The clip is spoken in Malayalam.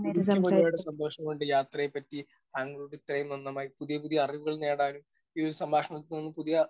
സ്പീക്കർ 1 എനിക്കും ഒരുപാട് സന്തോഷമുണ്ട് യാത്രയെപ്പറ്റി താങ്കളോട് ഇത്രയും നന്നമായി പുതിയ പുതിയ അറിവുകൾ നേടാനും ഈ ഒരു സംഭാഷണത്തിൽ നിന്നും പുതിയ